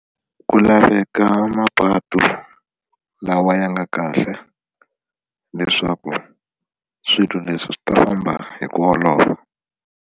Ku laveka mapatu lawa ya nga kahle leswaku swilo leswi swi ta famba hi ku olova.